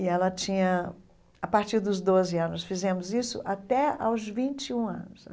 E ela tinha... A partir dos doze anos fizemos isso até aos vinte e um anos.